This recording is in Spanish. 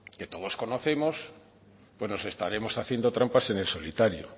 que todos conocemos pues nos estaremos haciendo trampas en el solitario